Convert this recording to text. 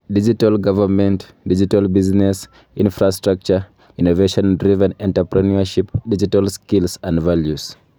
Digital Government, digital Business , infrastructure, innovation-Driven Entrepreneurship ,Digital Skills and Values